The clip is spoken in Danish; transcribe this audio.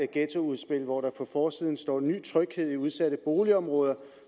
ghettoudspil hvor der på forsiden står ny tryghed i udsatte boligområder